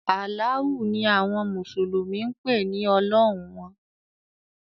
“Alaahu” ni awọn mùsùlùmí ń pe “ọlọ́hun” wọn.